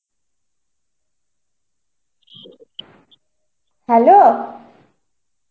hello.